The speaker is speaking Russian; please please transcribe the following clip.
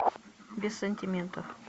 без сантиментов